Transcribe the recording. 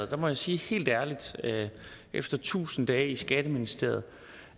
der må jeg sige helt ærligt efter tusind dage i skatteministeriet